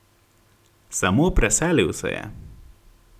Samo preselil se je.